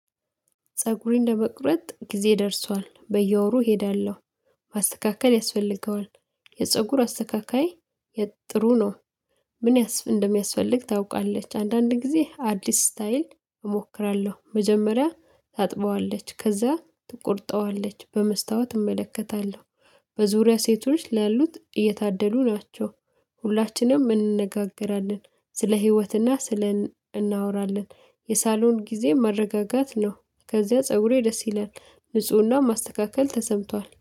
ፀጉሬን ለመቁረጥ ጊዜ ደርሷል። በየወሩ እሄዳለሁ። ማስተካክል ያስፈልገዋል። የፀጉር አስተካካይ ጥሩ ነው። ምን እንደሚያስፈልግ ታውቃለች። አንዳንድ ጊዜ አዲስ ስታይል እሞክራለሁ። መጀመሪያ ታጥበዋለች። ከዛ ትቆርጠዋለች። በመስታወት እመለከታለሁ። በዙሪያ ሴቶች ላሉት እየታደሉ ናቸው። ሁላችንም እንነጋገራለን። ስለ ህይወትና ስለ እናወራለን። የሳሎን ጊዜ መረጋጋት ነው። ከዚያ ፀጉሬ ደስ ይላል። ንፁህና ማስተካከል ተሰምቷል።